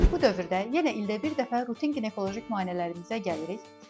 Bu dövrdə yenə ildə bir dəfə rutin ginekoloji müayinələrimizə gəlirik.